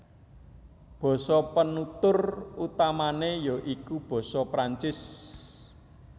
Basa penutur utamané ya iku basa Prancis